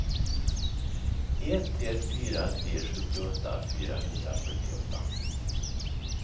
ett ett fyra tre sjuttioåtta fyrahundrafyrtioåtta